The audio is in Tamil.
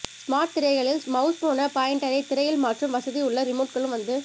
ஸ்மார்ட் திரைகளில் மவுஸ் போல பாயின்டரை திரையில் மாற்றும் வசதி உள்ள ரிமோட்களும் வந்து